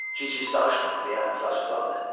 Gic-gic danışma, – deyə atası acıqlandı.